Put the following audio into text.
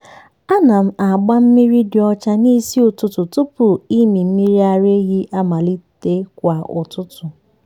ana m agba mmiri dị ọcha n’isi ụtụtụ tupu ịmị mmiri ara ehi amalite kwa ụtụtụ.